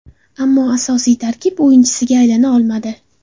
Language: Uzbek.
Ammo asosiy tarkib o‘yinchisiga aylana olmadi.